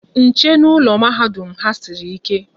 Nche n'ụlọ mahadum ha sịrị ike